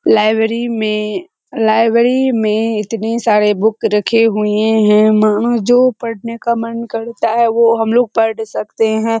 Library में library में इतने सारे बुक रखे हुए हैं मानो जो पढ़ने का मन करता है वो हमलोग पढ़ सकते हैं।